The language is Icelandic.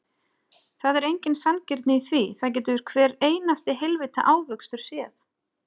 Það er engin sanngirni í því, það getur hver einasti heilvita ávöxtur séð.